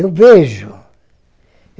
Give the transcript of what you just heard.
Eu vejo.